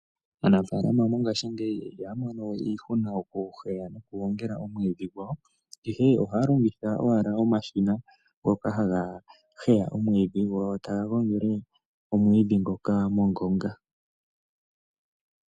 Aanafalama mongashingeyi ihaya mono we iihuna okuheya nokugongela omwiidhi gwawo. Ihe ohaya longitha owala omashina ngoka haga heya omwiidhi, go taga gongele omwiidhi ngoka mongonga.